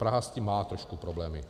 Praha s tím má trošku problémy.